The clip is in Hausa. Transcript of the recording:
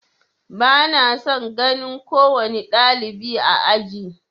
Ba na son ganin kowane ɗalibi a aji.